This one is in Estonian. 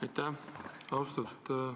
Aitäh!